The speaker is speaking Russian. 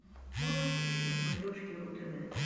можешь включить на смотрешке ру тв